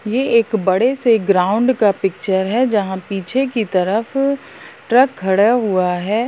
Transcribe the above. ये एक बड़े से ग्राउंड का पिक्चर है जहाँ पीछे की तरफ ट्रक खड़ा हुआ है।